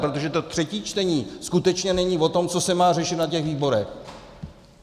Protože to třetí čtení skutečně není o tom, co se má řešit na těch výborech.